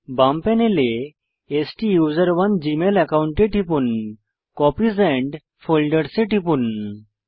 বাম প্যানেলে স্টুসেরনে জীমেল একাউন্টে টিপুন কপিস ফোল্ডার্স এ টিপুন